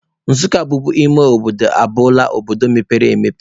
Nsukka bubu ime obodo, aghọọla obodo mepere emepe.